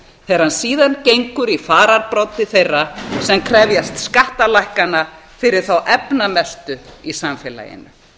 hann síðan gengur í fararbroddi þeirra sem krefjast skattalækkana fyrir þá efnamestu í samfélaginu